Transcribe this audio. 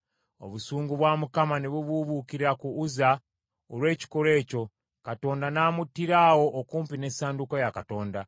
Obusungu bwa Mukama ne bubuubuukira ku Uzza olw’ekikolwa ekyo, Katonda n’amuttira awo okumpi n’essanduuko ya Katonda.